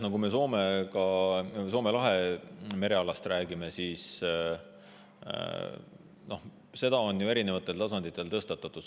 No kui me Soome lahe merealast räägime, siis peab ütlema, et seda teemat on soomlastega mitmel tasandil tõstatatud.